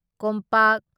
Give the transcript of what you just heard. ꯀꯣꯝꯄꯥꯛ